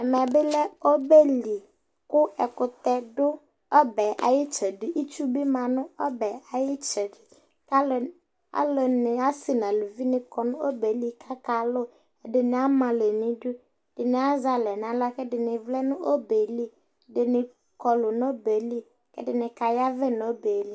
ɛmɛ bi lɛ ɔbɛ li kò ɛkutɛ do ɔbɛ ay'itsɛdi itsu bi ma no ɔbɛ ay'itsɛdi k'alo ni ase n'aluvi ni kɔ no ɔbɛ li k'aka lò ɛdini ama alɛ n'idu ɛdini azɛ alɛ n'ala k'ɛdini vlɛ no ɔbɛ li ɛdini kɔlu n'ɔbɛ li ɛdini ka yavɛ n'ɔbɛ li